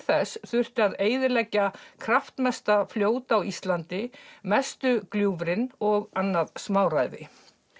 þess þurfti að eyðileggja kraftmesta fljót á Íslandi mestu gljúfrin og annað smáræði